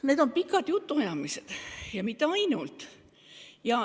Need on pikad jutuajamised, ja mitte ainult.